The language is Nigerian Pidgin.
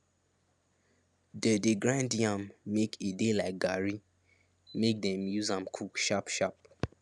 they dey grind yam make e de like garri make dey fit use am cook sharp sharp